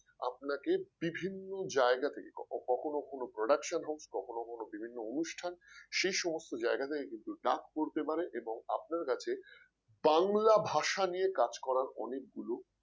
আপনাকে বিভিন্ন জায়গা থেকে কখনো কোন production house কখনো কোন বিভিন্ন অনুষ্ঠান সেই সমস্ত জায়গা থেকে কিন্তু ডাক পড়তে পারে এবং আপনার কাছে বাংলা ভাষা নিয়ে কাজ করার অনেকগুলো